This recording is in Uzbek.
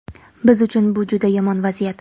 Biz uchun bu juda yomon vaziyat.